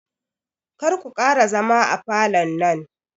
Karku ƙara zama a falon nan